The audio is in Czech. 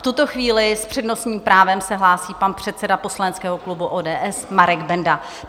V tuto chvíli s přednostním právem se hlásí pan předseda poslaneckého klubu ODS Marek Benda.